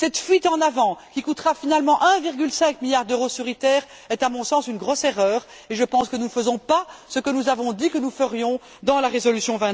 Cette fuite en avant qui coûtera finalement 1,5 milliard d'euros sur ITER est, à mon sens, une grosse erreur, et je pense que nous ne faisons pas ce que nous avons dit que nous ferions dans la résolution